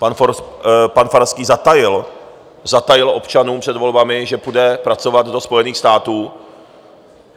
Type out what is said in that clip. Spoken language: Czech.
Pan Farský zatajil občanům před volbami, že půjde pracovat do Spojených států.